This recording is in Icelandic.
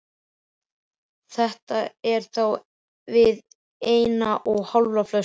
Þetta er á við eina og hálfa flösku.